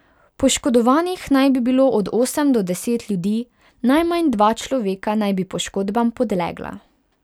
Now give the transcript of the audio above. Poškodovanih naj bi bilo od osem do deset ljudi, najmanj dva človeka naj bi poškodbam podlegla.